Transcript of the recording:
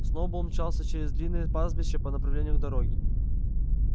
сноуболл мчался через длинное пастбище по направлению к дороге